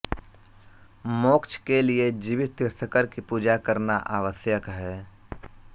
मोक्ष के लिए जीवित तीर्थंकर की पूजा करना आवश्यक है